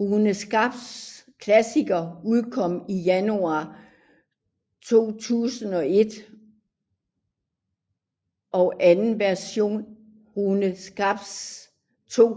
Runescape Classic udkom i januar 2001 og anden version RuneScape 2